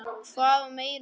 Og hvað meira um hana?